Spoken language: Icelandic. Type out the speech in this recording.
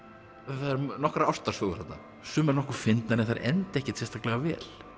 það eru nokkrar ástarsögur þarna sumar nokkuð fyndnar en þær enda ekkert sérstaklega vel